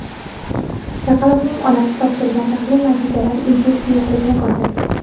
Chaqaloqning onasi topshirgan tahlil natijalari infeksiya yo‘qligini ko‘rsatgan.